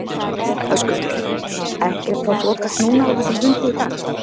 Höskuldur: Ekkert þá þokast núna á þessum fundi í dag?